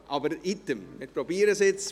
Aber wie dem auch sei, wir probieren es.